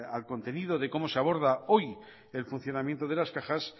al contenido de cómo se aborda hoy el funcionamiento de las cajas